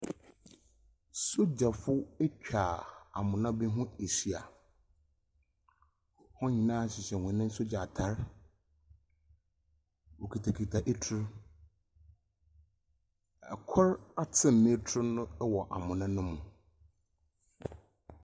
Sogyafo etwa amona bi ho ehyia, hɔn hyehyɛ hɔn sogya atar, wokitsakitsa etur, kor aten n’etur wɔ amona no mu.